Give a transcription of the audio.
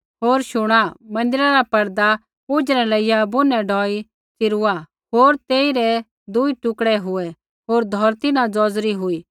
होर शुणा मन्दिरा रा परदा ऊझै न लेइया बुनै ढौई तैंईंयैं च़िरूआ होर तेथै रै दूई टुकड़ै हुऐ होर धौरती न ज़ौज़री हुई